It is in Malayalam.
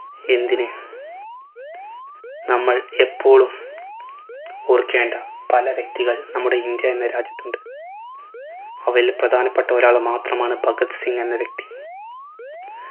എന്തിന് നമ്മൾ എപ്പോളും ഓർക്കേണ്ട പല വ്യക്തികൾ നമ്മുടെ ഇന്ത്യ എന്ന രാജ്യത്തുണ്ട്. അവയിൽ പ്രധാനപ്പെട്ട ഒരാള് മാത്രമാണ് ഭഗത് സിംഗ് എന്ന വ്യക്തി